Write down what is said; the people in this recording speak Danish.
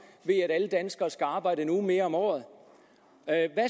ved at alle danskere skal arbejde en uge mere om året